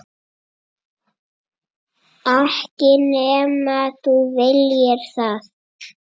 Ekki nema þú viljir það.